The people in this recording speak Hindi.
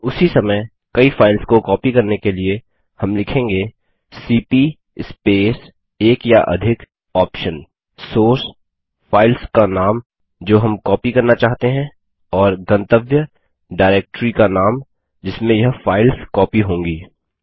उसी समय कई फाइल्स को कॉपी करने के लिए हम लिखेंगे सीपी स्पेस एक या अधिक OPTION सोर्स फाइल्स का नाम जो हम कॉपी करना चाहते हैं और गंतव्य डायरेक्ट्री का नाम जिसमें यह फाइल्स कॉपी होंगी